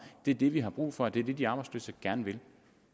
det er det vi har brug for og det er det de arbejdsløse gerne vil